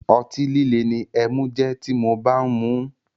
Otí líle ni ẹmu jẹ́ ti mo bá ń muú.